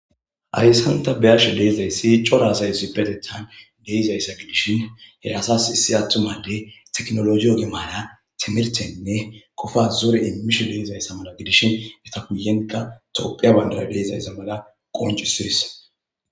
"Haysan ta be'ashe de'izaysi cora asay issipetethan de'izaysa gidishin he asas issi attuma addey techinologe oge maara timirttenne qofa zore immishe de'izaysa mala gidishin entta guyenkka Thopia bandira de'izaysa mala qonccisees."